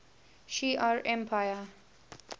shi ar empire